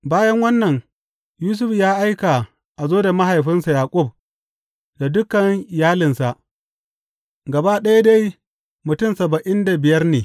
Bayan wannan, Yusuf ya aika a zo da mahaifinsa Yaƙub da dukan iyalinsa, gaba ɗaya dai mutum saba’in da biyar ne.